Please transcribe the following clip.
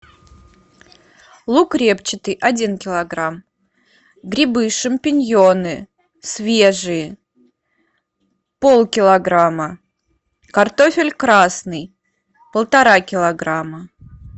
лук репчатый один килограмм грибы шампиньоны свежие полкилограмма картофель красный полтора килограмма